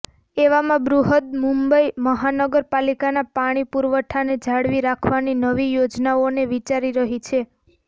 એવામાં બૃહદમુંબઇ મહાનગર પાલિકા પાણી પુરવઠાને જાળવી રાખવાની નવી યોજનાઓને વિચારી રહી છે